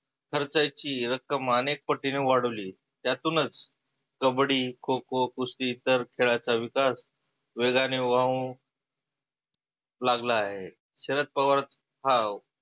खर्चायची रक्कम आनेक पटिनी वाढवली त्यातुनच कबड्डी, खो खो, कुस्ती इतर खेळाचा विकास वेगाने वाहु लागला आहे. शरद पवार हाव